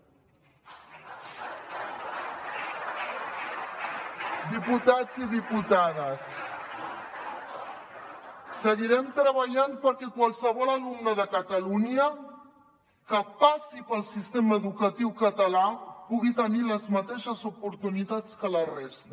diputats i diputades seguirem treballant perquè qualsevol alumne de catalunya que passi pel sistema educatiu català pugui tenir les mateixes oportunitats que la resta